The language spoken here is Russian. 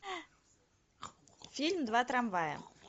фильм два трамвая